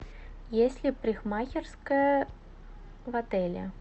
есть ли парикмахерская в отеле